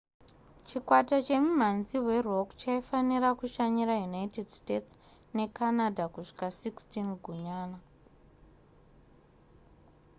chikwata chemimhanzi werock chaifanira kushanyira united states necanada kusvika 16 gunyana